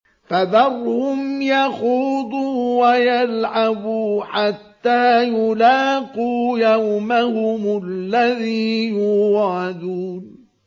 فَذَرْهُمْ يَخُوضُوا وَيَلْعَبُوا حَتَّىٰ يُلَاقُوا يَوْمَهُمُ الَّذِي يُوعَدُونَ